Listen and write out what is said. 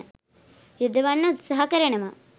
යොදවන්න උත්සාහ කරනවා.